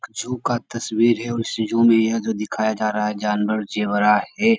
जू का तस्वीर है और इस जू में यह जो दिखाया जा रहा है जानवर ज़ेबरा है।